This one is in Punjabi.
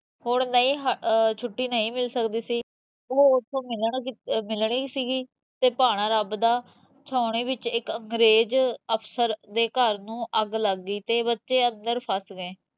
ਹੁਣ ਨਹੀ ਛੁੱਟੀ ਨਹੀ ਮਿਲ ਸਕਦੀ ਸੀਗੀ, ਓਹ ਉੱਥੋਂ ਮਿਲਣੀ ਸੀਗੀ ਤੇ, ਭਾਣਾ ਰੱਬ ਦਾ, ਛਾਉਣੀ ਵਿੱਚ ਇੱਕ ਅੰਗਰੇਜ ਅਫਸਰ ਦੇ ਘਰ ਨੂੰ ਅੱਗ ਲੱਗ ਗਈ ਤੇ ਬੱਚੇ ਅੰਦਰ ਫ਼ਸ ਗਏ